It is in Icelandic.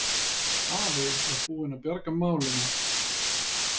Afi var búinn að bjarga málinu.